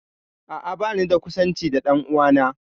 A'a, banida kusanci da ɗan'uwana